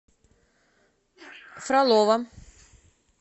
фролово